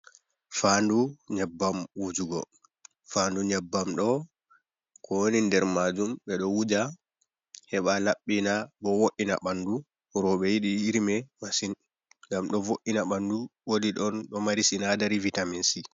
Faandu nyabbam wujugo, faandu nyabbam ɗo ko woni nder maajum be ɗo wuja, heɓa labbina, bo vo’ina ɓandu, rooɓe yiɗi iri mai masin, ngam ɗo vo’ina ɓandu woodi ɗon ɗo mari sinadari vitamin si.